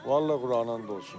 Vallahi Qurana and olsun.